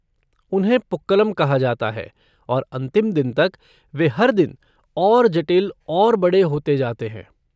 उन्हें पुक्कलम कहा जाता है और अंतिम दिन तक, वे हर दिन और जटिल और बड़े होते जाते हैं।